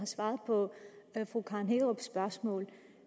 svaret på fru karen hækkerups spørgsmål